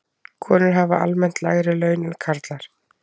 Konur hafa almennt lægri laun en karlar.